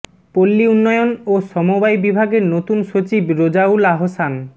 পল্লী উন্নয়ন ও সমবায় বিভাগের নতুন সচিব রেজাউল আহসান